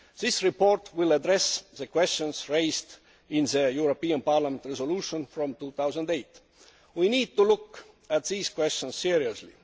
This report will address the questions raised in the European Parliament resolution of 2008. We need to look at these questions seriously.